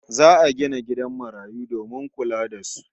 Za'a gina gidan marayu domin kula da su